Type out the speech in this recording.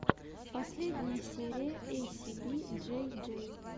последняя серия эйсиби джей джей